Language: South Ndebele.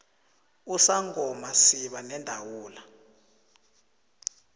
usangoma siba nendawula